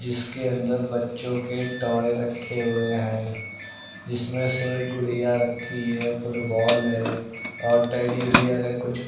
इसके अंदर बच्चों के टॉय रखे हुए हैं जिसमें से गुड़िया रखी है फुटबॉल है और टेडी बेयर है कुछ--